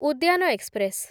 ଉଦ୍ୟାନ ଏକ୍ସପ୍ରେସ୍‌